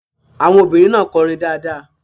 Àwọn obìnrin náà kọrin dáadáa.